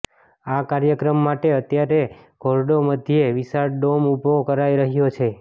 આ કાર્યક્રમ માટે અત્યારે ધોરડો મધ્યે વિશાળ ડોમ ઉભો કરાઈ રહ્યો છે